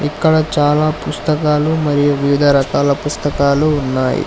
అక్కడ చాలా పుస్తకాలు మరియు వివిధ రకాల పుస్తకాలు ఉన్నాయి.